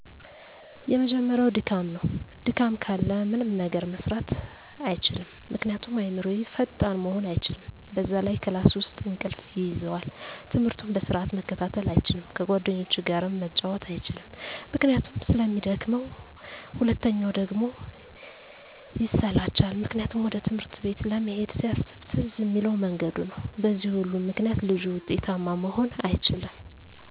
የመጀመሪያው ድካም ነው። ድካም ካለ ምንም ነገር መስራት አይችልም ምክንያቱም አዕምሮው ፈጣን መሆን አይችልም፣ በዛ ላይ ክላስ ውስጥ እንቅልፍ ይይዘዋል፣ ትምህርቱን በስርዓት መከታተል አይችልም፣ ከጓደኞቹ ጋርም መጫወት አይችልም ምክንያቱም ስለሚደክመው። ሁለተኛው ደግሞ ይሰላቻል ምክንያቱም ወደ ትምህርት ቤት ለመሄድ ሲያስብ ትዝ እሚለው መንገዱ ነው በዚህ ሁሉ ምክንያት ልጁ ውጤታማ መሆን አይችልም